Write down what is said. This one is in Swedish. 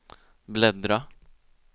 bläddra